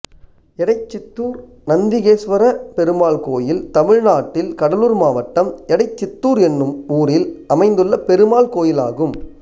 எடைச்சித்தூர் நந்திகேசுவர பெருமாள் கோயில் தமிழ்நாட்டில் கடலூர் மாவட்டம் எடைச்சித்தூர் என்னும் ஊரில் அமைந்துள்ள பெருமாள் கோயிலாகும்